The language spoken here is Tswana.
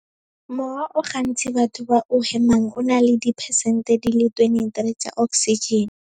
"Mowa o gantsi batho ba o hemang o na le diphesente di le 23 tsa oksijene."